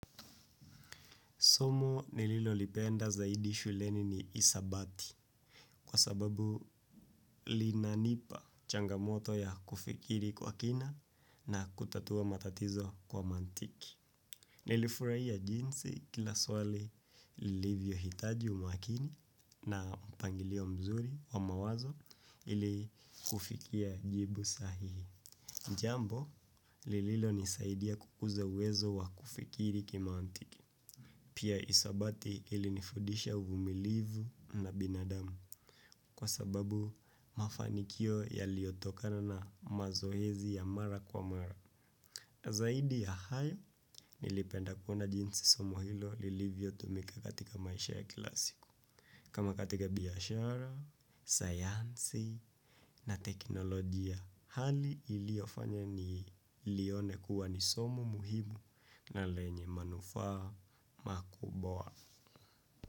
Somo nililolipenda zaidi shuleni ni hisabati kwa sababu linanipa changamoto ya kufikiri kwa kina na kutatua matatizo kwa mantiki. Nilifurahia jinsi kila swali lilivyohitaji umakini na mpangilio mzuri wa mawazo ili kufikia jibu sahihi. Jambo, lililonisaidia kukuza uwezo wa kufikiri kimaantiki. Pia hisabati ilinifudisha uvumilivu na binadamu kwa sababu mafanikio yaliotokana na mazoezi ya mara kwa mara. Na zaidi ya hayo, nilipenda kuona jinsi somo hilo lilivyotumika katika maisha ya kila siku. Kama katika biashara, sayansi na teknolojia hali iliofanya nilione kuwa ni somo muhimu na lenye manufaa makubwa.